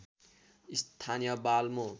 स्थानीय बाल्मो